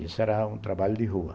Isso era um trabalho de rua.